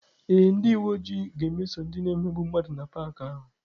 Ee, ndị uwe ojii ga-emeso ndị na-emegbu mmadụ na paakị ahụ.